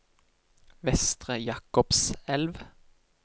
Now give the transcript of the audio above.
Vestre Jakobselv